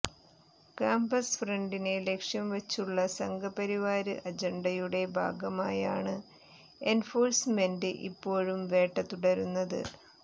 campus ഫ്രണ്ടിനെ ലക്ഷ്യംവച്ചുള്ള സംഘപരിവാര് അജണ്ടയുടെ ഭാഗമായാണ് എന്ഫോഴ്സ്മെന്റ് ഇപ്പോഴും വേട്ട തുടരുന്നത്